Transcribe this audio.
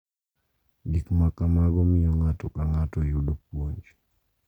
Gik makamago miyo ng’ato ka ng’ato yudo puonj.